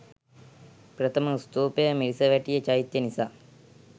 ප්‍රථම ස්තූපය මිරිසවැටිය චෛත්‍ය නිසා